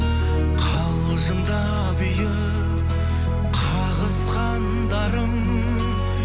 қалжыңдап иық қағысқандарым